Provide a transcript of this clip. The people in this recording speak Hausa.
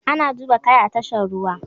Ana duba kaya a tashar ruwa.